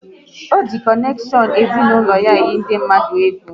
Ọ ji konekshion ezinaụlọ ya eyi ndị mmadụ egwu